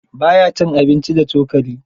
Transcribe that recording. Ba ya cin abinci da cokali.